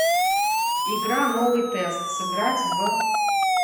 игра новый тест сыграть в